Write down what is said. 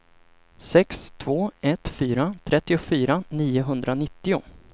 sex två ett fyra trettiofyra niohundranittio